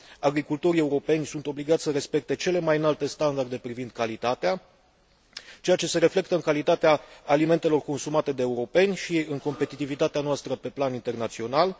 Agricultorii europeni sunt obligați să respecte cele mai înalte standarde privind calitatea, ceea ce se reflectă în calitatea alimentelor consumate de europeni și în competitivitatea noastră pe plan internațional.